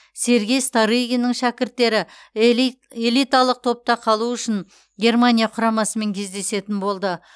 сергей старыгиннің шәкірттері элиталық топта қалу үшін германия құрамасымен кездесетін болды